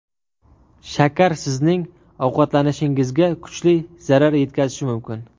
Shakar sizning ovqatlanishingizga kuchli zarar yetkazishi mumkin.